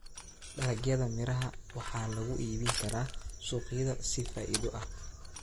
Dalagyada miraha waxaa lagu iibin karaa suuqyada si faa'iido ah.